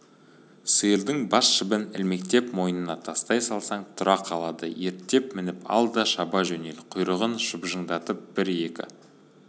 сиырдың бас жібін ілмектеп мойнына тастай салсаң тұра қалады ерттеп мініп ал да шаба жөнел құйрығын шыжбыңдатып бір-екі